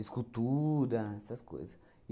essas coisas.